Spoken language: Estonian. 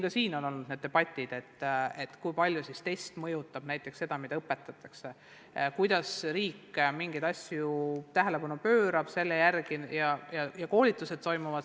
Ka selle üle olnud debatte, kui palju üks test mõjutab seda, mida õpetatakse, kuidas riik mingitele asjadele tähelepanu pöörab ja koolitused toimuvad.